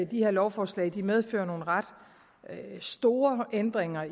de her lovforslag medfører nogle ret store ændringer